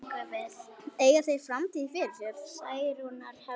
Eiga þeir framtíð fyrir sér?